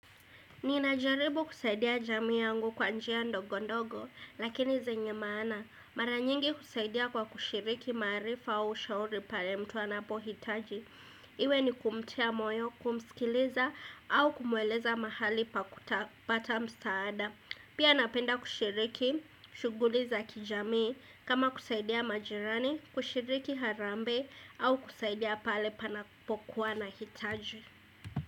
Ninajaribu kusaidia jamii yangu kwa njia ndogo ndogo lakini zenye maana. Mara nyingi kusaidia kwa kushiriki maarifa au shauri pale mtu anapohitaji. Iwe ni kumtia moyo kumsikiliza au kumweleza mahali pa kutapata msaada. Pia napenda kushiriki, shuguli za kijamii. Kama kusaidia majirani, kushiriki harambee au kusaidia pale panapokuwa na hitaji.